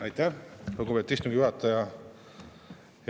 Aitäh, lugupeetud istungi juhataja!